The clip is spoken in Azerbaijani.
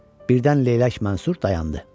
Birdən leylək Mənsur dayandı.